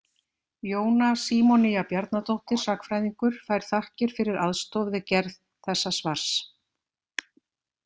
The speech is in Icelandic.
Jóna Símonía Bjarnadóttir sagnfræðingur fær þakkir fyrir aðstoð við gerð þessa svars.